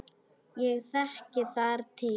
Ég þekki þar til.